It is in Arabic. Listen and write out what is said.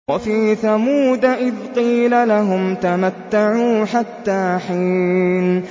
وَفِي ثَمُودَ إِذْ قِيلَ لَهُمْ تَمَتَّعُوا حَتَّىٰ حِينٍ